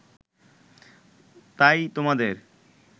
তাই তোমাদের